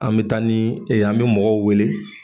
An bi taa ni, ee an bi mɔgɔw wele